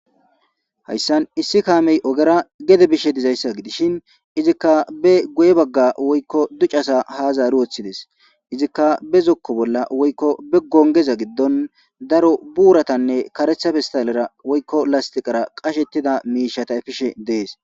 Ha misiley qoncisizaysi woykon besizyasi kehippe gittane aho gidiza gosha soni issi bitaney nam'u kacama boorata waxidi goyishe dizaysa ha misilezi qoncises